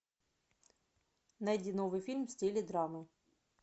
найди новый фильм в стиле драмы